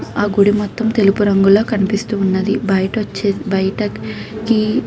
ఈ గుడి మొతం తెలుపు రంగు లా కనిపిస్తుంది. బయట వచ్చేసి బయటకి --